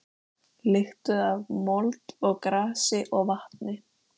Lyktuðu af mold og grasi og vatni.